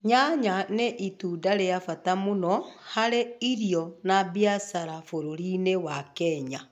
Nyanya nĩ Itunda rĩ bata mũno hari irio na biacara bũrũri-inĩ wa Kenya